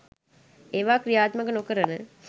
ඒවා ක්‍රියාත්මක නොකරන